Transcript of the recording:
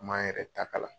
An m'an yɛrɛ ta ka